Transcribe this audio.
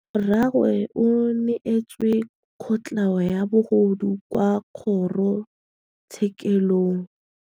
Rragwe o neetswe kotlhaô ya bogodu kwa kgoro tshêkêlông.